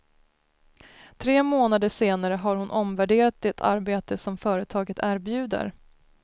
Tre månader senare har hon omvärderat det arbete som företaget erbjuder.